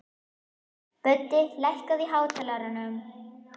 Böddi, lækkaðu í hátalaranum.